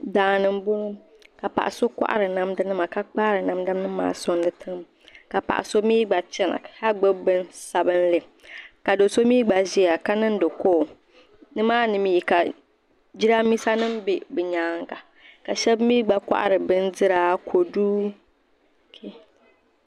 daani m bɔŋɔ ka paɣ' so kɔhari namdanima ka kpaari namdanima maa soŋdi tiŋa ka paɣ' so mi gba chana ka gbubi bini sabinli ka do' so mi gba ʒiya ka niŋdi kooli nima ni mi ka Jiraaminsanima be bɛ nyaaga ka shɛba mi gba kɔhiri bindira; kodu,